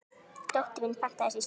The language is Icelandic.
Dóttir mín pantaði sér slím.